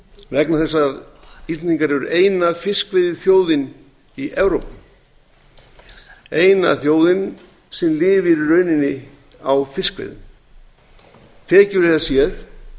vegna þess að íslendingar eru eina fiskveiðiþjóðin í evrópu eina þjóðin sem lifir í rauninni á fiskveiðum tekjulega séð